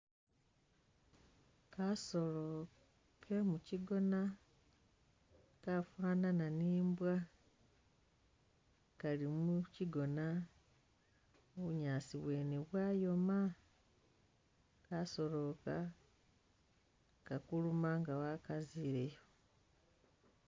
Kasoolo ke mukyigoona kafanana ni imbwa ,kali mukyigoona, bunyaasi bwene bwayoma, kasoolo aka kakuluma nfa wakazileyo